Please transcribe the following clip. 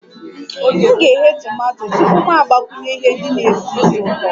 M ga-eghe tomato tupu mụ agbakwunye ihe ndị na-esi ísì ụtọ